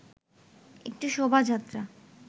একটি শোভাযাত্রা